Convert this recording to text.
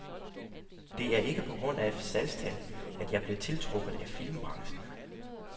Det er ikke på grund af salgstal, at jeg blev tiltrukket af filmbranchen.